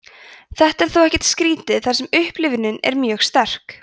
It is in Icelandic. þetta er þó ekkert skrítið þar sem upplifunin er mjög sterk